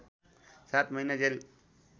सात महिना जेल